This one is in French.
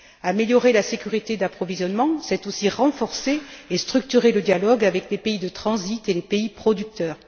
Améliorer la sécurité d'approvisionnement c'est aussi renforcer et structurer le dialogue avec les pays de transit et les pays producteurs.